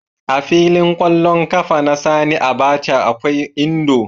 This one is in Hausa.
A filin ƙwallon ƙafa na Sani Abacha akwai Indo.